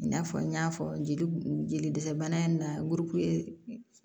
I n'a fɔ n y'a fɔ jeli jeli dɛsɛ bana in na